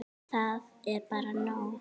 Það er bara nóg.